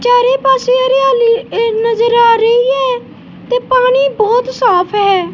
ਚਾਰੇ ਪਾੱਸੇ ਹਰਿਆਲੀ ਨਜਰ ਆ ਰਹੀ ਹੈ ਤੇ ਪਾਣੀ ਬੋਹੁਤ ਸਾਫ ਹੈ।